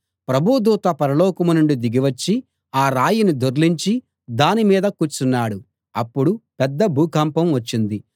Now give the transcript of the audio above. ప్రభువు దూత పరలోకం నుండి దిగి వచ్చి ఆ రాయిని దొర్లించి దాని మీద కూర్చున్నాడు అప్పుడు పెద్ద భూకంపం వచ్చింది